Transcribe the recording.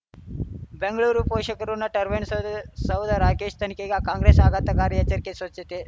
ಬೆಂಗಳೂರು ಪೋಷಕಋಣ ಟರ್ಬೈನು ಸೌದೆ ಸೌಧ ರಾಕೇಶ್ ತನಿಖೆಗೆ ಕಾಂಗ್ರೆಸ್ ಆಘಾತಕಾರಿ ಎಚ್ಚರಿಕೆ ಸ್ವಚ್ಛತೆ